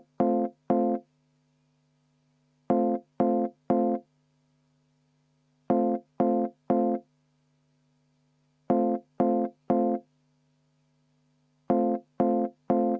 Nii et jätkuvalt ma palun 10 minutit vaheaega.